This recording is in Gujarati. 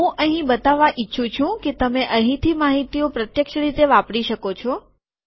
હું અહીં બતાવવા ઈચ્છું છું કે તમે અહીંથી માહિતીઓ પ્રત્યક્ષ રીતે વાપરી શકો છો